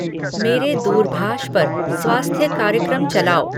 मेरे दूरभाष पर स्वास्थ्य कार्यक्रम चलाओ